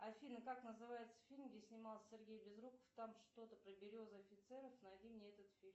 афина как называется фильм где снимался сергей безруков там что то про березы и офицеров найди мне этот фильм